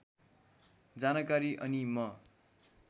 जानकारी अनि म